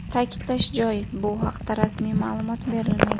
Ta’kidlash joiz, bu haqda rasmiy ma’lumot berilmagan.